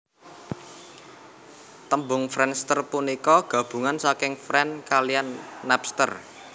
Tembung friendster punika gabungan saking friends kaliyan Napster